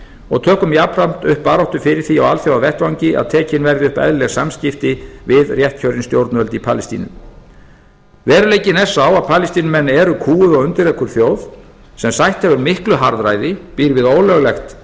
og tökum jafnframt upp baráttu fyrir því á alþjóðavettvangi að tekin verði upp eðlileg samskipti við réttkjörin stjórnvöld í palestínu veruleikinn er sá að palestínumenn eru kúguð og undirokuð þjóð sem sætt hefur miklu harðræði býr við ólöglegt